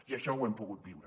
i això ho hem pogut viure